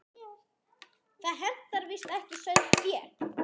Það hentar víst ekki sauðfé.